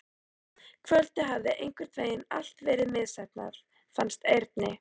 Kvöldið hafði einhvern veginn allt verið misheppnað, fannst Erni.